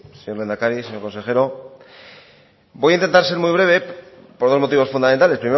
señor lehendakari señor consejero voy a intentar ser muy breve por dos motivos fundamentales